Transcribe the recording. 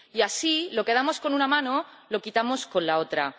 Y así, lo que damos con una mano lo quitamos con la otra.